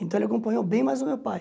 Então ele acompanhou bem mais o meu pai.